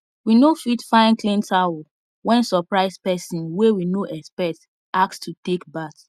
we no fit find clean towel when surprise person wey we no expect ask to take bath